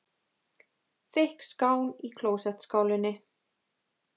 Þykk skán í klósettskálinni.